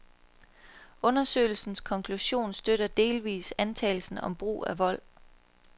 Undersøgelsens konklusion støttede delvist antagelsen om brug af vold.